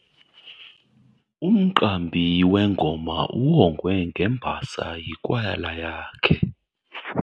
Umqambi wengoma uwongwe ngembasa yikwayala yakhe.